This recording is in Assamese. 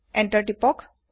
এন্টাৰ তিপক